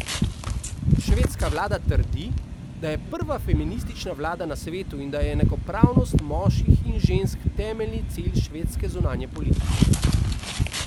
Švedska vlada trdi, da je prva feministična vlada na svetu in da je enakopravnost moških in žensk temeljni cilj švedske zunanje politike.